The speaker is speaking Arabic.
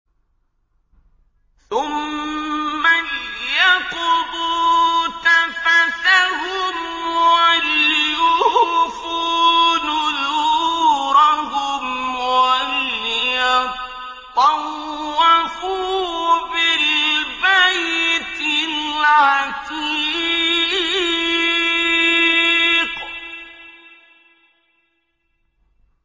ثُمَّ لْيَقْضُوا تَفَثَهُمْ وَلْيُوفُوا نُذُورَهُمْ وَلْيَطَّوَّفُوا بِالْبَيْتِ الْعَتِيقِ